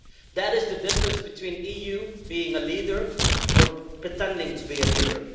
That is the difference between the EU being a leader or pretending to be a leader.